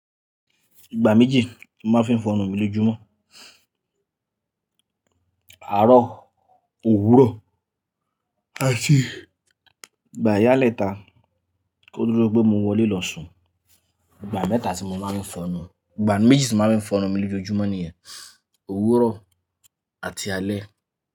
Ìgbà méjì màá fi ń fọnnu mi lójoojúmọ́. Àárọ̀, òwúrọ̀ àti ìgbà ìyálẹ́ta kóduro pe mo wọlé lọ sùn. Ìgbà mẹ́ta tí mo máa ń fọnnu, ìgbà méjì tí màá fi ń fọnnu mi lójoojúmọ́ nìyẹn, òwúrọ̀ àti alẹ́